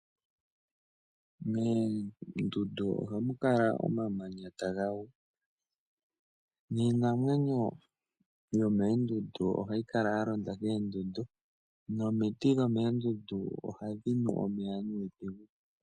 Moondundu ohamu kala omamanya taga gu niinamwenyo yomoondundu ohayi kala ya londa koondundu nomiti dhomoondundu ohadhi nu omeya.